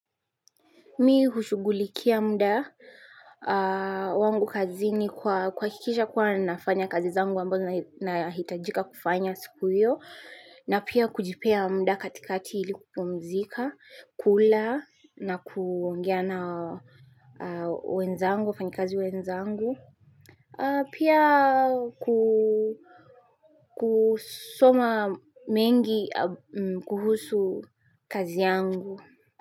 Mi hushugulikia mda wangu kazi ni kwa kihakisha kwa nafanya kazi zangu ambazo na hitajika kufanya siku hiyo. Na pia kujipea mda katika ili kupumzika, kula na kuongea na wenzangu, wafanyikazi wenzangu. Pia kusoma mengi kuhusu kazi yangu.